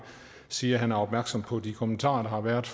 sige at han er opmærksom på de kommentarer der har været